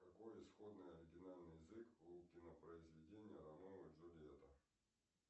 какой исходный оригинальный язык у кинопроизведения ромео и джульетта